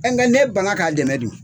Nge n'e ban na k'a dɛmɛ dun.